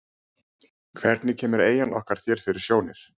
Hvernig kemur eyjan okkar þér fyrir sjónir?